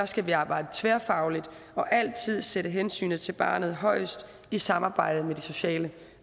skal vi arbejde tværfagligt og altid sætte hensynet til barnet højest i samarbejde med de sociale